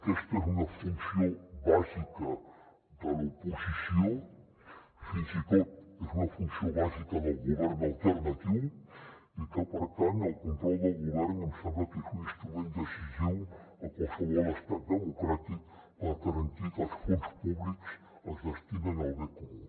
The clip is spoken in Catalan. aquesta és una funció bàsica de l’oposició fins i tot és una funció bàsica del govern alternatiu i que per tant el control del govern em sembla que és un instrument decisiu a qualsevol estat democràtic per garantir que els fons públics es destinen al bé comú